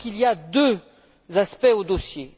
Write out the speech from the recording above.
Il me semble qu'il y a deux aspects au dossier.